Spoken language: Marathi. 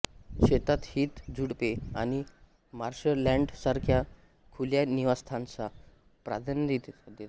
शेतात हीथ झुडुपे आणि मार्शलँडसारख्या खुल्या निवासस्थानास प्राधान्य देतात